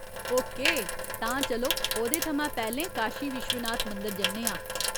Okay, तां चलो ओह्‌दे थमां पैह्‌लें काशी विश्वनाथ मंदर जन्ने आं !